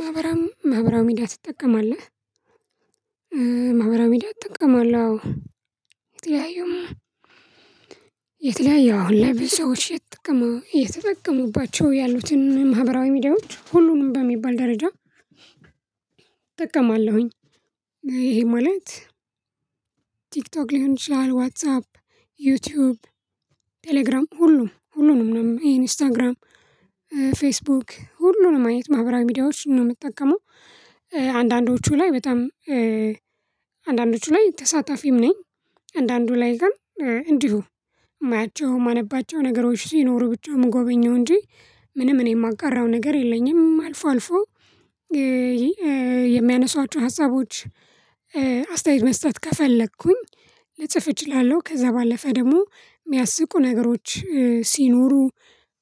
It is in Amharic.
ማህበራዊ ማህበራዊ ሚዲያ ትጠቀማለህ? ማህበራዊ ሚዲያ አጠቀማለው አዎ የተጠቀመባቸው ያሉትን ማህበራዊ ሚዲያዎች ሁሉንም በሚባል ደረጃ እጠቀማለሁኝ ይሄ ማለት ቲክቶክ ሊሆን ይችላል ዋትሳፕ ዩቲዩብ ቴሌግራም ሁሉም ሁሉንም ነው ኢንስታግራም ፌስቡክ ሁሉንም አይነት ማህበራዊ ሚዲያዎች ነው የምጠቀመው አንዳንዶቹ ላይ በጣም አንዳንዶቹ ላይ ተሳታፊም ነኝ አንዳንዱ ላይ ግን እንዲሁ የማያቸው የማነባቸው ነገሮች ሲኖሩ ብቻ የምጎበኘው እንጂ ምንም እኔ የማጋራው ነገር የለኝም አልፎ አልፎ ይሄ የሚያነሷቸው ሀሳቦች አስተያየት መስጠት ከፈለኩኝ ልጽፍ እችላለው ከዛ ባለፈ ደግሞ የሚያስቁ ነገሮች ሲኖሩ